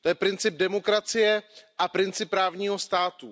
To je princip demokracie a princip právního státu.